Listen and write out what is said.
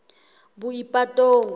boipatong